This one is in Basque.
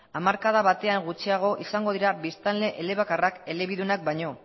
hamarkada batean gutxiago izango dira biztanle elebakarra elebidunak baino